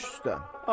Baş üstdə.